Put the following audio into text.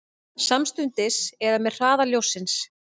Samstundis eða með hraða ljóssins?